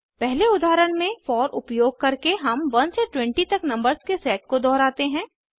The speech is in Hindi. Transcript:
पहले उदाहरण में फोर उपयोग करके हम 1 से 20 तक नंबर्स के सेट को दोहराते हैं